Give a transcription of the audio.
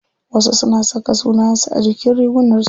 Wasu suna saka sunayen su a jikin rigunar su.